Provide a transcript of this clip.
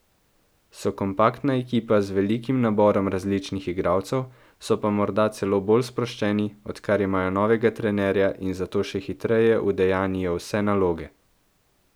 So kompaktna ekipa z velikim naborom različnih igralcev, so pa morda celo bolj sproščeni, odkar imajo novega trenerja in zato še hitreje udejanjijo vse naloge.